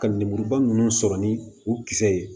Ka lemuruba ninnu sɔrɔ ni u kisɛ ye